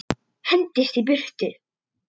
Hendist í burtu.